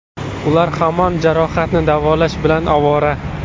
Ular hamon jarohatini davolash bilan ovora.